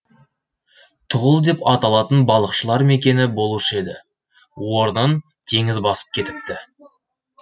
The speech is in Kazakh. тұғыл деп аталатын балықшылар мекені болушы еді орнын теңіз басып кетіпті